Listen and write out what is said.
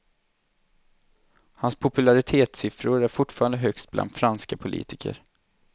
Och hans popularitetssiffror är fortfarande högst bland franska politiker.